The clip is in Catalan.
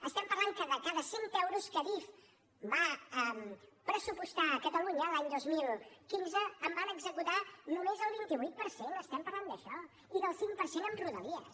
estem parlant que de cada cent euros que adif va pressupostar a catalunya l’any dos mil quinze en van executar només el vint vuit per cent estem parlant d’això i del cinc per cent a rodalies